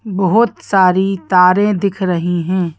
बहुत सारी तारें दिख रही हैं।